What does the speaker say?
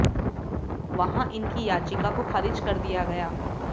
वहां इनकी याचिका को खारिज कर दिया गया